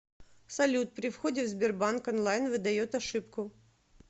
салют при входе в сбербанк онлайн выдает ошибку